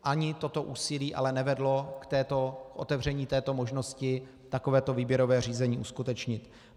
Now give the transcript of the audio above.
Ani toto úsilí ale nevedlo k otevření této možnosti takovéto výběrové řízení uskutečnit.